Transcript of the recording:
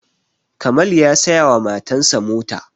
kamal ya saya wa matan sa mota